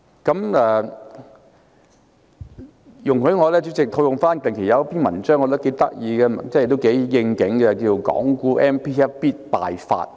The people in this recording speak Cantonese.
主席，容許我套用近期一篇我認為頗有趣的文章，名為"港股 MPF 必敗法"。